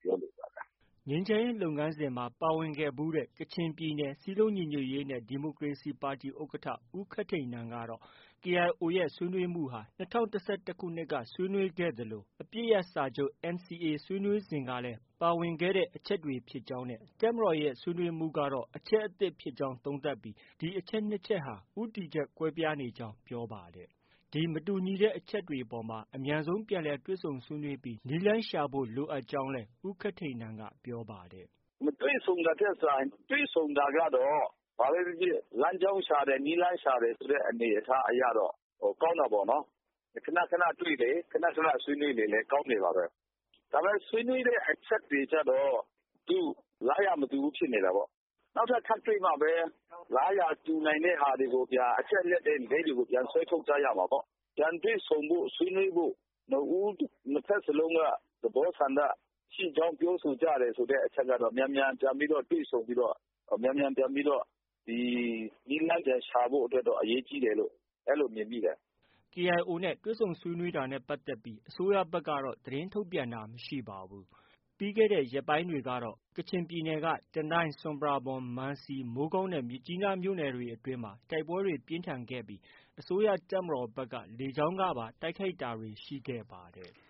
ပြောလိုပါတယ်။” ငြိမ်းချမ်းရေးလုပ်ငန်းစဉ်မှာ ပါဝင်ခဲ့ဖူးတဲ့ ကချင်ပြည်နယ် စည်းလုံးညီညွတ်ရေးနဲ့ ဒီမိုကရေစီပါတီ ဥက္ကဌ ဦးခက်ထိန်နန်ကတော့ KIO ရဲ့ ဆွေးနွေးမှုဟာ ၂၀၁၁ကတည်း စတင်ခဲ့သလို အပစ်ရပ်စာချုပ် NCA ဆွေးနွေးစဉ်ကလည်း ပါဝင်ခဲ့တဲ့ အချက်ဖြစ်ကြောင်းနဲ့ တပ်မတော်ရဲ့ ဆွေးနွေးမှုကတော့ အချက်အသစ် ဖြစ်ကြောင်း သုံးသပ်ပြီး ဒီအချက် ၂ချက်ဟာ ဦးတည်ချက် ကွဲပြားနေကြောင်း ပြောပါတယ်။ ဒီမတူညီတဲ့အချက်အပေါ်မှာ အမြန်ဆုံးပြန်လည် တွေ့ဆုံဆွေးနွေးပြီး နည်းလမ်းရှာဖို့ လိုအပ်ကြောင်း ဦးခက်ထိန်နန်က ပြောပါတယ်။ “မတွေ့ဆုံတာထက် စာရင် တွေ့ဆုံတာကတော့ ဘာပဲဖြစ်ဖြစ် လမ်းကြောင်းရှာတယ်၊ နည်းလမ်းရှာတယ်ဆိုတဲ့ အနေအထားအရတော့ ကောင်းတာပေါ့။ ခန ခနတွေ့လေ၊ ခန ခန ဆွေးနွေးလေ ကောင်းလေပါပဲ။ ဒါပေမဲ့ ဆွေးနွေးတဲ့အချက်တွေကျတော့ လားရာမတူဘူးဖြစ်နေတာပေါ့။ နောက်ထပ်ထပ်တွေ့တော့မှပဲ လားရာတူနိုင်တဲ့ဟာတွေကို အချက်အလက်လေးတွေကို ဆွဲထုတ်ကြရမှာပေါ့။ ပြန်တွေ့ဆုံဖို့ ဆွေးနွေးဖို့ နှစ်ဦးနှစ်ဖက်လုံးက သဘောဆန္ဒရှိကြောင်း ပြောဆိုကြတယ်ဆိုတဲ့အချက်ကတော့ မြန်မြန်ပြန်ပြီးတော့ တွေ့ဆုံပြီးတော့ မြန်မြန်ပြန်ပြီးတော့ နည်းလမ်းရှာဖို့တော့ အရေးကြီးတယ်လို့ အဲလို မြင်မိတယ်။” KIO နဲ့ တွေ့ဆုံဆွေးနွေးတာနဲ့ ပတ်သက်ပြီး အစိုးရဖက်ကတော့ သတင်းထုတ်ပြန်တာ မရှိပါဘူး။ ပြီးခဲ့တဲ့ရက်ပိုင်းတွေကတော့ ကချင်ပြည်နယ် တနိုင်း၊ ဆွမ်ပရာဘွမ်၊ မန်စီ၊ မိုးကောင်းနဲ့ မြစ်ကြီးနား မြို့နယ်တွေအတွင်းမှာ တိုက်ပွဲတွေ ပြင်းထန်ခဲ့ပြီး အစိုးရတပ်မတော်က လေကြောင်းကပါ တိုက်ခိုက်တာတွေ ရှိခဲ့ပါတယ်။